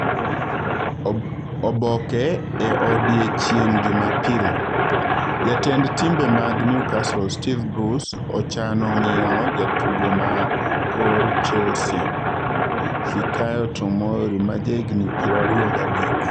(Oboke e odiechieng' Jumapil) Jatend timbe mag Newcastle Steve Bruce ochano ng'iewo jatugo ma kor Chelsea Fikayo Tomori ma jahigni 23.